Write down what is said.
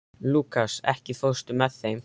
Lúkas, ekki fórstu með þeim?